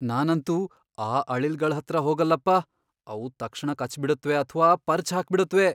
ನಾನಂತೂ ಆ ಅಳಿಲ್ಗಳ್ ಹತ್ರ ಹೋಗಲ್ಲಪ್ಪ, ಅವು ತಕ್ಷಣ ಕಚ್ಬಿಡತ್ವೆ ಅಥ್ವಾ ಪರ್ಚ್ ಹಾಕ್ಬಿಡತ್ವೆ.